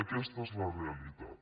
aquesta és la realitat